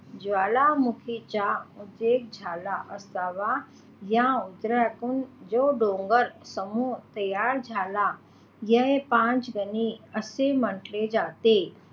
ज्वालामुखीचा उद्रेक झाला असावा या उद्रेकातून जो डोंगर समूह तयार झाला या पाचगणी असे म्हटले जाते.